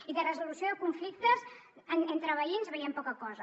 i de resolució de conflictes entre veïns veiem poca cosa